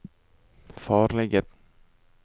farlige